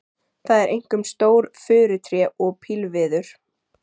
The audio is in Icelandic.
Það eru einkum stór furutré og pílviður.